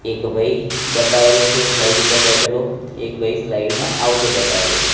એક ભાઈ બતાવેલો છે સ્લાઇડ ઉપર બેઠેલો એક સ્લાઈડ માં આવતો બતાવેલો છે.